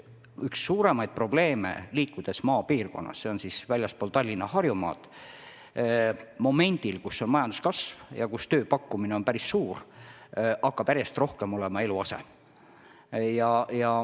Üks suurimaid probleeme maapiirkondades väljaspool Tallinna ja Harjumaad ongi praegu, kui meil on majanduskasv ja tööpakkumine päris suur, järjest rohkem eluase.